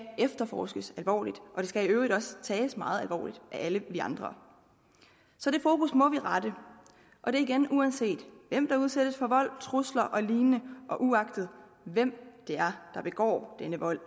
efterforskes alvorligt og det skal i øvrigt også tages meget alvorligt af alle vi andre så det fokus må vi rette og det er igen uanset hvem der udsættes for vold trusler og lignende og uagtet hvem det er der begår denne vold